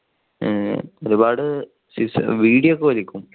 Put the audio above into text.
എഹ് ഒരുപാട് ബീഡി ഒക്കെ വലിക്കും.